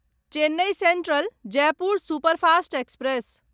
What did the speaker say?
Chennai central Jaipur superfast express